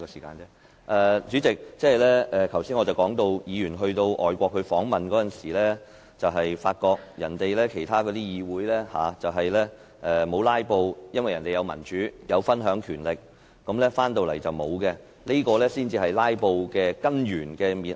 代理主席，我剛才談到，議員在外訪時發覺當地議會沒有"拉布"，原因是國家奉行民主制度，有權力分享，但香港則沒有，這才是導致"拉布"的根本原因。